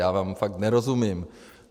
Já vám fakt nerozumím.